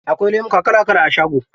Akwai lemuka kala kala a shago.